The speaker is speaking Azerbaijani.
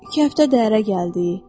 İki həftə dəhərə gəldi.